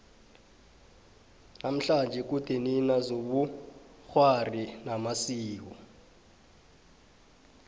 namhlanje kudenina zobukghwari namasiko